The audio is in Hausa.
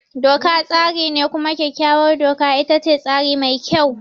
Doka tsari ne, kuma kyakkyawar doka ita ce tsari mai kyau.